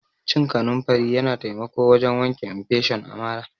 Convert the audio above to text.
Cin kanunfari Yana taimako wajen wanke infesion a marà.